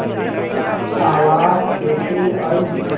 आवाज़ कैसे आई